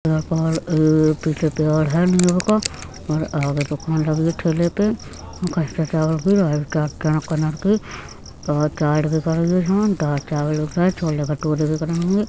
पीछे पेड़ है नीम का और आगे दुकान लगी है ठेले पे खसते चावल की राइस और चाट बिक रही है इसमें और दाल चावल बिक रहें हैें छोले भठूरे बिक रहें हैं।